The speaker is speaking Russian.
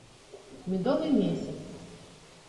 медовый месяц